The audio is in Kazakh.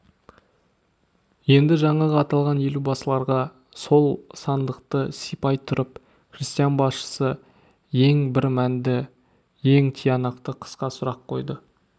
енді жаңағы аталған елубасыларға сол сандықты сипай тұрып крестьян басшысы ең бір мәнді ең тиянақты қысқа сұрақ қойды